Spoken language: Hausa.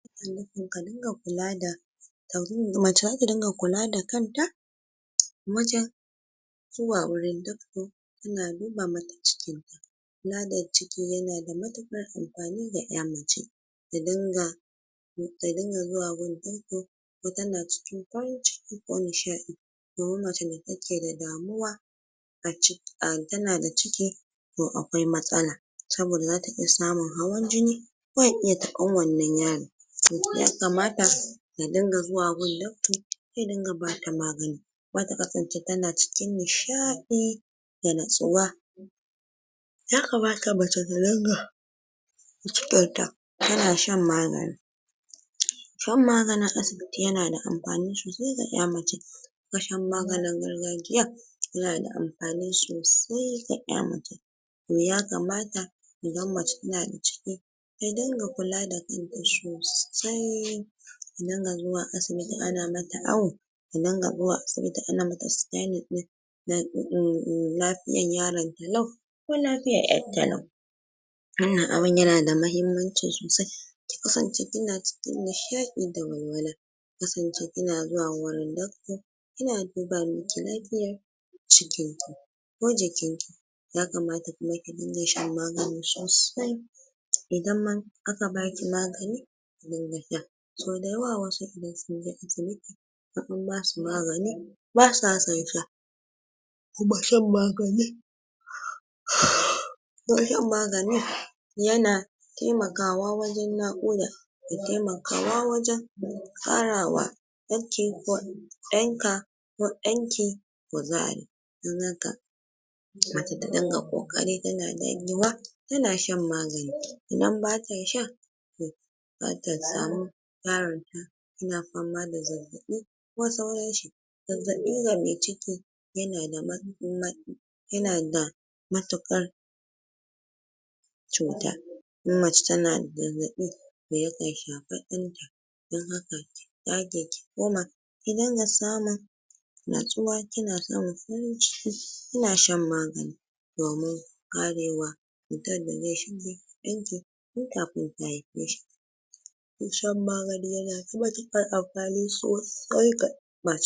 ka rinƙa kulada t [?| mace zata rinƙa kula da kanta mijin zuwa wurin doctor suna duba mata ciki kula da ciki yanada matuƙar anfani ga ya mace ta dinga um ta dinga zuwa gun doctor ko tana cikin ko nishaɗi domin mace da take da damuwa aci um tanada ciki ko akwai matsala saboda zata iya samun hawan jini yakamata ta dinga zuwa guna doctor ze dinga bata magani data kasance tana cikin nishaɗi da natsuwa yakamata mace ta dinga da cikin ta tana shan magani shan maganin asibi ti yana anfani sosai ga ya mace ga shan maganin gargajiya yanada anfani sosai ga yan mace yakama idan mace tanada ciki ta dinga kula da kanta sosai ta dinga zuwa asibiti ana mata awo ta dinga zuwa asibiti ana mata sikainiin ɗin um lafi yar yaron ko lafiyar yarta lau wanan abun yanada mahimmanci sosai ki kasance kina cikin nishaɗi da walwala ki kasance kina zuwa gurin doctor yana duba miki lafiyar ko jikin ki yakamata kuma ki dinga shan magani sosai idan ma aka baki magani ki diga sha so dayawa wasu idan sunje asibiti in an basu magani basa son sha kuma shan maganin kuma shan magani temakawa wajan naƙuda da temakawa wajan tsarawa yan ka ko dan ki mace tadinga kokari tana dagewa tana shan magani idan bata sha to zata samu tana fama da zazzaɓi ko sauranshi zazzaɓi ga me ciki yanada ma ma yanada matukar cuta in mace tana zazzaɓi dayakan shafa dan dan haka daki kuma ki dinga samun natsuwa kina samun hutu kina shan magani domin karewa cutan da ze shiga jikin ki tun kafin ki haife shi shan magani yana sa hali sosai ga ya mace.